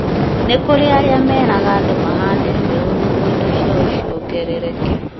nĩ kũrĩ arĩa meraga andũ mahande mbeũ nĩguo mbeca ciao ciongerereke